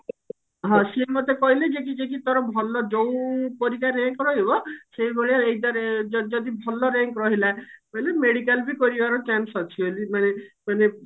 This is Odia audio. ହଁ ସିଏ ମୋତେ କହିଲେ ଯେ କି ଯେ କି ତୋର ଭଲ ଯଉ ପରୀକ୍ଷାରେ rank ରହିବ ସେଇଭଳିଆ exam ରେ ଯ ଯଦି ଭଲ rank ରହିଲା କହିଲେ medical ବି ପଡିବାର chance ବି ଅଛି ବୋଲି ମାନେ ମାନେ